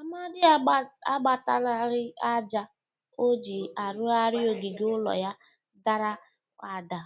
Amadị agbatalari aja o ji arụgarị ogige ụlọ ya dara ada